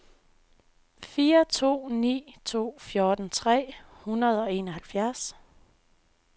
fire to ni to fjorten tre hundrede og enoghalvfjerds